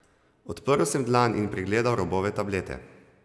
Odprl sem dlan in pregledal robove tablete.